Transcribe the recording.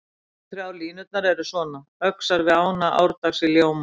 Fyrstu þrjár línurnar eru svona: Öxar við ána árdags í ljóma